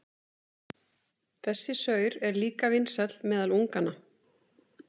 Þessi saur er líka vinsæll meðal unganna.